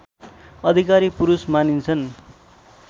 अधिकारी पुरुष मानिन्छन्